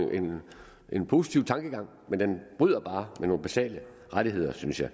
en positiv tankegang men bryder bare med nogle basale rettigheder synes jeg